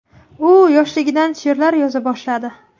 U yoshligidan she’rlar yoza boshladi.